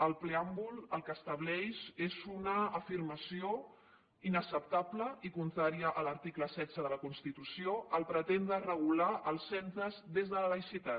el preàmbul el que estableix és un afirmació inacceptable i contrària a l’article setze de la constitució al pretendre regular els centres des de la laïcitat